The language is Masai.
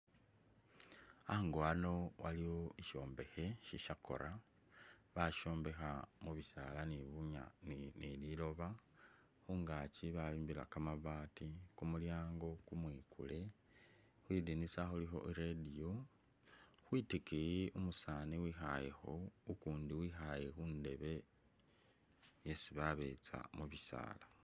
Ango ano waliwo shishombekhe shishakora , bashombekha mubisaala ni liloba ,khungakyi bayombekhela kamabaati kumulyango kumwikule , khwidinisa khulikho i’radio , khwitikiyi umusaani wikhalekho ukundi ikhaale khundebe yesi babetsa mubisaala.